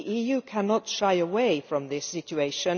The EU cannot shy away from this situation.